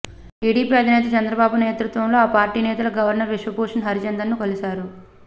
TDP అధినేత చంద్రబాబు నేతృత్వంలో ఆ పార్టీ నేతలు గవర్నర్ విశ్వభూషణ్ హరిచందన్ను కలిశారు